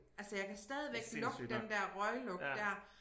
Altså jeg kan stadigvæk lugte den der røglugt dér